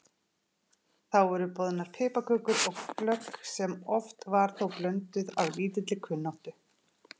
Þá voru boðnar piparkökur og glögg sem oft var þó blönduð af lítilli kunnáttu.